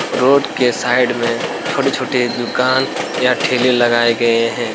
Road के side में छोटे-छोटे दुकान या ठेले लगाए गए हैं।